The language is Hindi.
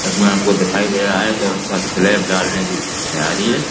जिसमे हमको दिखाई दे रहा है कि उसका स्लैब डालने की तैयारी है।